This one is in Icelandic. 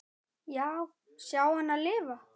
Já, sjá hana lifa.